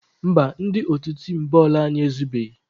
Mba, ndị otu tim bọọlụ anyị ezubeghị.